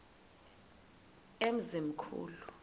emzimkhulu